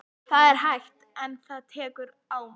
Það er hægt. en tekur á mann.